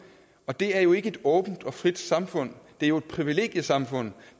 og det er jo ikke et åbent og frit samfund det er jo et privilegiesamfund